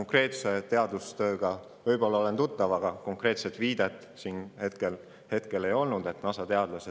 Selle teadustööga ma olen võib-olla tutvunud, aga kuna te konkreetset viidet ei andnud,.